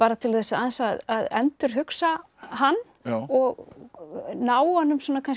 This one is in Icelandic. til þess aðeins að endurhugsa hann og ná honum